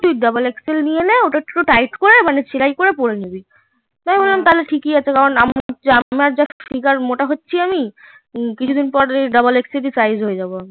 তুই double XL নিয়ে নে ওটাকে তুই tight করে মানে সেলাই করে পরে নেবে তা বললাম ঠিক এ আছে যা মোটা হচ্ছি আমি কিছু দিন পর double XL সাইজ হয়ে যাবো আমি